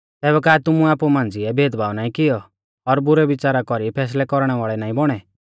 तैबै का तुमुऐ आपु मांझ़िऐ भेदभाव नाईं कियौ और बुरै विच़ारा कौरी फैसलै कौरणै वाल़ै नाईं बौणै